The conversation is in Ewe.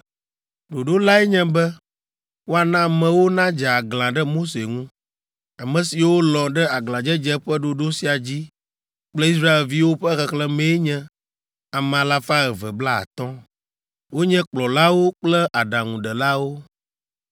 Ɖoɖo lae nye be woana amewo nadze aglã ɖe Mose ŋu. Ame siwo lɔ̃ ɖe aglãdzedze ƒe ɖoɖo sia dzi kple Israelviwo ƒe xexlẽmee nye ame alafa eve blaatɔ̃ (250). Wonye kplɔlawo kple aɖaŋudelawo.